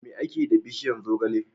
Me ake yi da bishiyar zogale?